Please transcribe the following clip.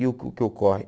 E o o que ocorre?